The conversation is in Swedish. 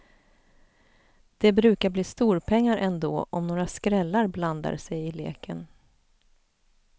Det brukar bli storpengar ändå om några skrällar blandar sig i leken.